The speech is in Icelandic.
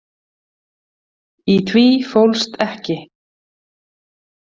Í því fólst ekki.